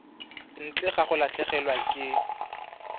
ntle ga go latlhegelwa ke